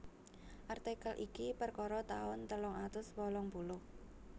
Artikel iki perkara taun telung atus wolung puluh